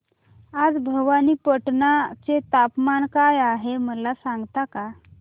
आज भवानीपटना चे तापमान काय आहे मला सांगता का